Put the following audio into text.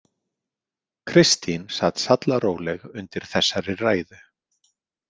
Kristín sat sallaróleg undir þessari ræðu.